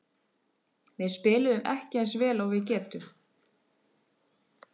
Við spiluðum ekki eins vel og við getum.